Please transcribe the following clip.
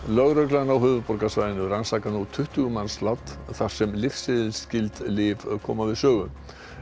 lögreglan á höfuðborgarsvæðinu rannsakar nú tuttugu mannslát þar sem lyfseðilsskyld lyf koma við sögu